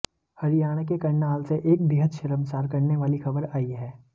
हरियाणा के करनाल से एक बेहद शर्मासार करने वाली खबर आई हैं